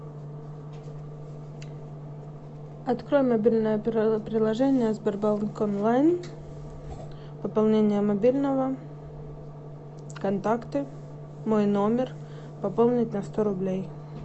открой мобильное приложение сбербанк онлайн пополнение мобильного контакты мой номер пополнить на сто рублей